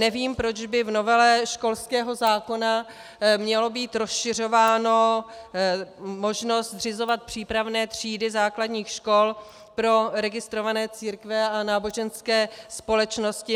Nevím, proč by v novele školského zákona měla být rozšiřována možnost zřizovat přípravné třídy základních škol pro registrované církve a náboženské společnosti.